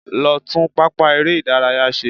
Lọ tún pápá eré-ìdárayá ṣe.